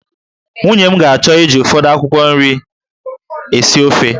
Nwunye m ga-achọ iji ụfọdụ akwụkwọ nri esi ofe